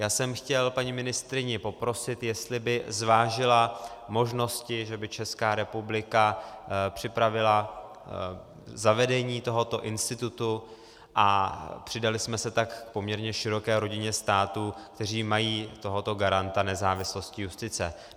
Já jsem chtěl paní ministryni poprosit, jestli by zvážila možnosti, že by Česká republika připravila zavedení tohoto institutu a přidali jsme se tak k poměrně široké rodině států, které mají tohoto garanta nezávislosti justice.